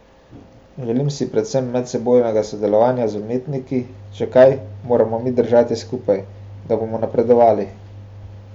Želim si predvsem medsebojnega sodelovanja z umetniki, če kaj, moramo mi držati skupaj, da bomo napredovali.